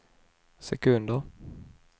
sekunder